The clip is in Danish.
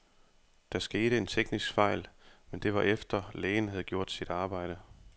Der skete en teknisk fejl, men det var efter, lægen havde gjort sit arbejde.